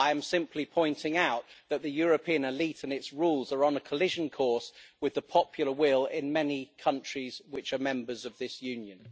I am simply pointing out that the European elite and its rules are on a collision course with the popular will in many countries which are members of this Union.